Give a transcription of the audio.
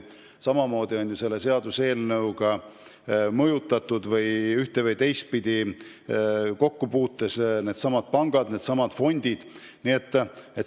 Samamoodi puudutab seaduseelnõu ühte- või teistpidi pankasid ja pensionifonde.